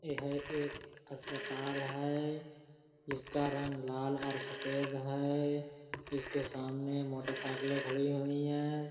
ए है एक अस्पताल है जिसका रंग लाल और सफेद है। इसके सामने मोटरसाइकिलें खड़ी हुई हैं।